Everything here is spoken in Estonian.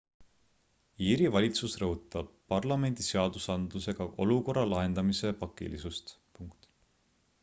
iiri valitsus rõhutab parlamendi seadusandlusega olukorra lahendamise pakilisust